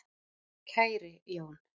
KÆRI Jón.